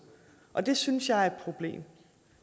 og det synes jeg er et problem